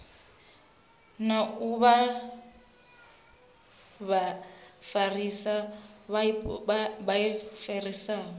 na u vha vhafarisa vhaofisiri